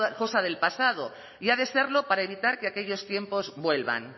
cosa del pasado y ha de serlo para evitar que aquellos tiempos vuelvan